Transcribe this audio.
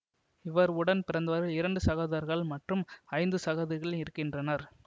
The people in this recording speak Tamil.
இவர் உடன் பிறந்தவர்கள் இரண்டு சகோதரர்கள் மற்றும் ஐந்து சகோதரிகள் இருக்கின்றனர்